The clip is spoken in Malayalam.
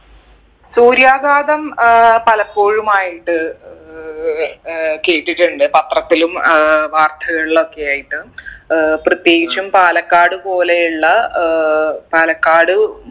സൂര്യാഘാതം ഏർ പലപ്പോഴുമായിട്ട് ഏർ കേട്ടിട്ടുണ്ട് പത്രത്തിലും ഏർ വാർത്തകളിലൊക്കെ ആയിട്ട് ഏർ പ്രത്യേകിച്ചും പാലക്കാട് പോലെയുള്ള ഏർ പാലക്കാട്